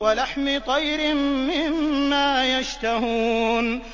وَلَحْمِ طَيْرٍ مِّمَّا يَشْتَهُونَ